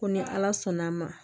Ko ni ala sɔnn'a ma